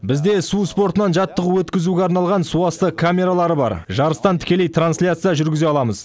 бізде су спортынан жаттығу өткізуге арналған суасты камералары бар жарыстан тікелей трансляция жүргізе аламыз